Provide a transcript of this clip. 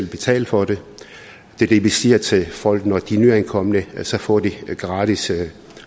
betale for det det er det vi siger til folk når de er nyankomne nemlig at så får de gratis